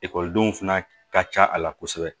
Ekɔlidenw fana ka ca a la kosɛbɛ